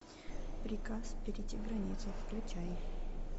приказ перейти границу включай